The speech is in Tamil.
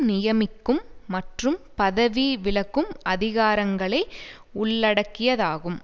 நியமிக்கும் மற்றும் பதவி விலக்கும் அதிகாரங்களை உள்ளடக்கியதாகும்